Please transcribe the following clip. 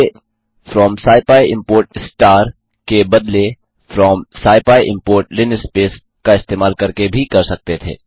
इसे from scipy import linspace instead of from scipy import का इस्तेमाल करके भी कर सकते थे